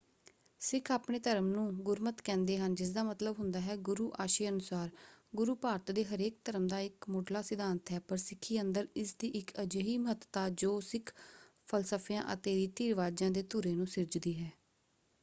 ਸਿੱਖ ਆਪਣੇ ਧਰਮ ਨੂੰ ਗੁਰਮਤਿ ਕਹਿੰਦੇ ਹਨ ਜਿਸਦਾ ਮਤਲਬ ਹੁੰਦਾ ਹੈ ਗੁਰੂ ਆਸ਼ੇ ਅਨੁਸਾਰ”। ‘ਗੁਰੂ’ ਭਾਰਤ ਦੇ ਹਰੇਕ ਧਰਮ ਦਾ ਇੱਕ ਮੁੱਢਲਾ ਸਿਧਾਂਤ ਹੈ ਪਰ ਸਿੱਖੀ ਅੰਦਰ ਇਸ ਦੀ ਇੱਕ ਅਜਿਹੀ ਮਹੱਤਤਾ ਜੋ ਸਿੱਖ ਫਲਸਫਿਆਂ ਅਤੇ ਰੀਤੀ ਰਿਵਾਜਾਂ ਦੇ ਧੁਰੇ ਨੂੰ ਸਿਰਜਦੀ ਹੈ।